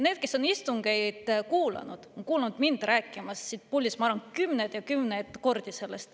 Need, kes on istungeid kuulanud, on kuulnud mind sellest rääkimas siit puldist, ma arvan, kümneid ja kümneid kordi.